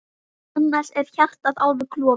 Annars er hjartað alveg klofið.